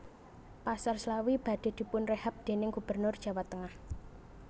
Pasar Slawi badhe dipunrehab dening gubernur Jawa tengah